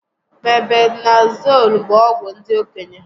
Mebendazool bụ ọgwụ ndị okenye